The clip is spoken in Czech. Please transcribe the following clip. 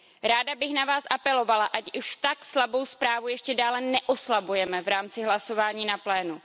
Ráda bych na vás apelovala, ať už tak slabou zprávu ještě dále neoslabujeme v rámci hlasování na plénu.